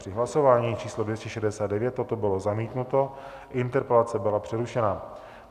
Při hlasování číslo 269 toto bylo zamítnuto, interpelace byla přerušena.